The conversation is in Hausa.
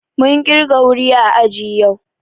Mun kirga wuri ã àji yau.